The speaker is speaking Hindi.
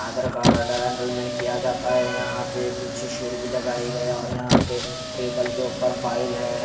आधार कार्ड है एनरोलमेंट किया जाता है यहाँ पर पीछे शील्ड भी लगाई गया है और यहाँ पर टेबल के ऊपर फाइल है।